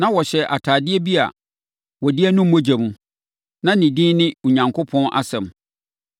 Na ɔhyɛ atadeɛ bi a wɔde anu mogya mu. Na ne din ne “Onyankopɔn Asɛm”